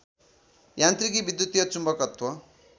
यान्त्रिकी विद्युतीय चुम्बकत्व